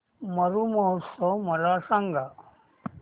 मरु महोत्सव मला सांग